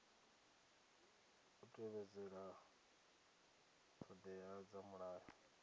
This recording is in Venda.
u tevhedzela ṱhoḓea dza mulayo